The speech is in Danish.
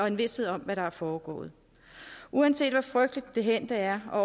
en vished om hvad der er foregået uanset hvor frygteligt det hændte er og